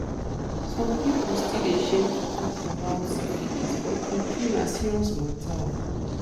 some people still dey shame to talk about syphilisbut true true na serious matter o